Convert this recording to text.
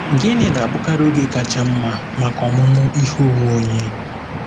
Gịnị na-abụkarị oge kacha mma maka ọmụmụ ihe onwe onye?